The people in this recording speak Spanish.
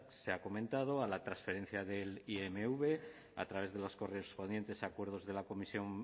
se ha comentado a la transferencia del imv a través de los correspondientes acuerdos de la comisión